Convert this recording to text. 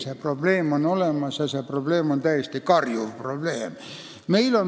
See probleem on olemas ja see on täiesti karjuv probleem.